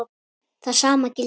Það sama gildir hér.